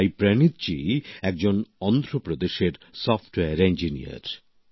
সাই প্রনীথজী একজন অন্ধ্রপ্রদেশের সফটওয়্যার ইঞ্জিনিয়ার